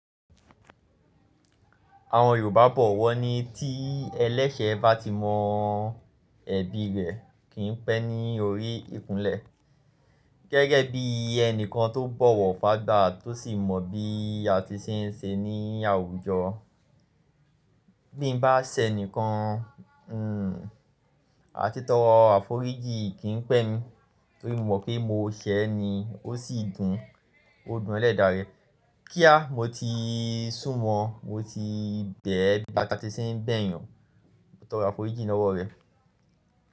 Àwọn Yorùbá bọ̀wọ̀ ní tí ẹlẹ́sẹ̀ bá ti mọ ẹ̀bi rẹ kì í pẹ́ ní orí ìkúnlẹ̀. Gẹ́gẹ́ bí ẹni kan tó bọ̀wọ̀ fàgbà tó sì mọ bí a ti ṣe n ṣe ní àwùjọ. Bí mo bá ṣẹ́ ẹni kan, àti tọ àforíjì kì í pẹ́ mi torí mo mọ̀ pé mo ṣẹ́ ẹ ni ó sì dùn, ó dùn ẹlẹ́ẹ̀dà rẹ. Kíá, mo ti sùnmọ̀ọ́, mo ti bẹ̀ẹ́ bí a ti ṣe n bẹ̀ yàn tọ àforíjì lọ́wọ́ rẹ.